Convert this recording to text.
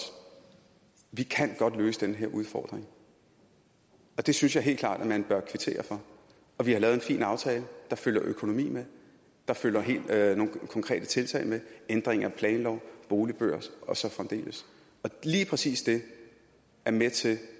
vi kan godt løse den her udfordring og det synes jeg helt klart at man bør kvittere for vi har lavet en fin aftale der følger økonomi med der følger nogle konkrete tiltag med ændring af planlov boligbørs og så fremdeles lige præcis det er med til